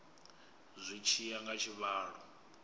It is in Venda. zwi tshi ya nga tshivhalo